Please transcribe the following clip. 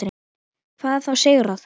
Hvað þá sigrað.